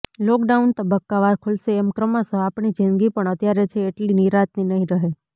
lockdown તબક્કાવાર ખૂલશે એમ ક્રમશઃ આપણી જિંદગી પણ અત્યારે છે એટલી નિરાંતની નહીં રહે